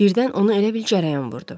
Birdən onu elə bil cərəyan vurdu.